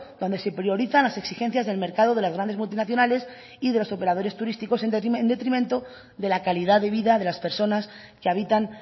donde se priorizan las exigencias del mercado de las grandes multinacionales y de los operadores turísticos en detrimento de la calidad de vida de las personas que habitan